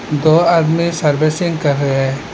दो आदमी सर्विसिंग कर रहे हैं।